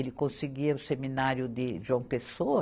Ele conseguia o seminário de João Pessoa,